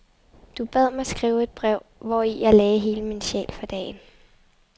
Du bad mig skrive et brev, hvori jeg lagde hele min sjæl for dagen.